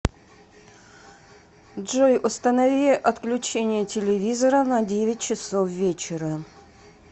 джой установи отключение телевизора на девять часов вечера